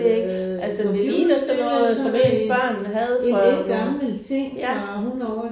Det ved jeg ikke, altså det ligner sådan noget som ens børn havde for ja